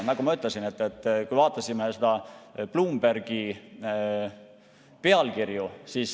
Me vaatasime Bloombergi pealkirju.